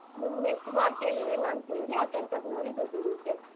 ನೀನ್ ಎಷ್ಟ್ ಮಾಡ್ತಿಯ ಏನ್ ಅಂತ್ ಹೇಳಿ ಆ ಕೆಲ್ಸದ್ ನೋಡಿ ದುಡ್ ಇರತ್ತೆ.